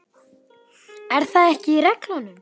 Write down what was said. Er það ekki í reglunum?